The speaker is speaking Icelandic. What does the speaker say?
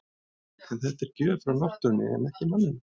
En þetta er gjöf frá náttúrunni en ekki manninum.